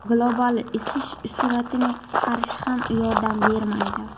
Global isish sur’atining qisqarishi ham yordam bermaydi.